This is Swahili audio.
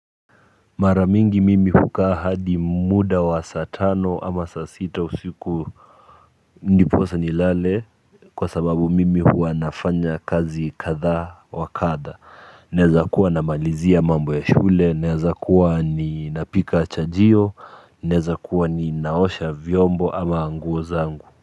Mara mingi mimi hukaa hadi muda wa saa tano ama saa sita usiku. Ndiposa nilale. Kwa sababu mimi huwa nafanya kazi kadha wa kadha naeza kuwa namalizia mambo ya shule, naeza kuwa ninapika chajio, naeza kuwa ninaosha vyombo ama nguo zangu